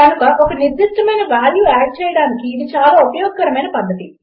కనుక ఒక నిర్దిష్టమైన వాల్యూ ఆడ్ చేయడానికి ఇది చాలా ఉపయోగకరమైన పధ్ధతి